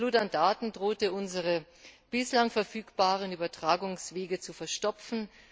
Die Flut an Daten drohte unsere bislang verfügbaren Übertragungswege zu verstopfen.